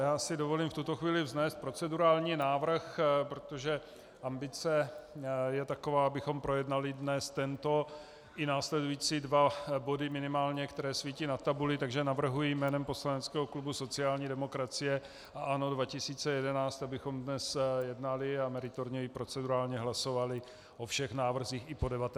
Já si dovolím v tuto chvíli vznést procedurální návrh, protože ambice je taková, abychom projednali dnes tento i následující dva body, minimálně, které svítí na tabuli, takže navrhuji jménem poslaneckého klubu sociální demokracie a ANO 2011, abychom dnes jednali a meritorně i procedurálně hlasovali o všech návrzích i po 19. hodině.